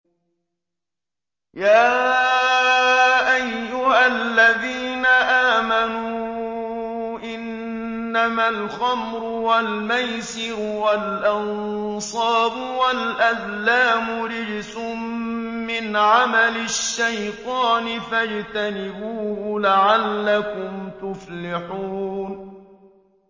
يَا أَيُّهَا الَّذِينَ آمَنُوا إِنَّمَا الْخَمْرُ وَالْمَيْسِرُ وَالْأَنصَابُ وَالْأَزْلَامُ رِجْسٌ مِّنْ عَمَلِ الشَّيْطَانِ فَاجْتَنِبُوهُ لَعَلَّكُمْ تُفْلِحُونَ